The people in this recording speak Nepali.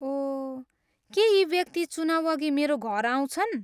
ओह, के यी व्यक्ति चुनाउअघि मेरो घर आउँछन्?